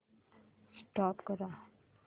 stop करा